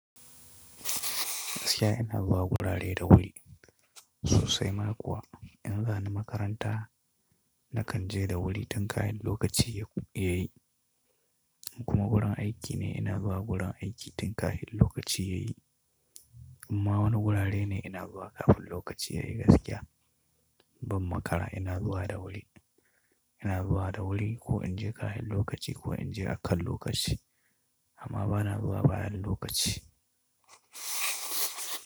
Gaskiya ina zuwa gurare da wuri sosai ma kuwa. In zani makaranta na kan je da wuri tin kahin lokaci yayi kuma gurin aiki ne ina zuwa gurin aiki tin kahin lokaci yayi. Amma wani gurare ne ina zuwa kafin lokaci yayi gaskiya. Ban makara ina zuwa da wuri, ina zuwa da wuri ko in je kayan lokaci ko in je akan lokaci amma bana zuwa bayan lokaci.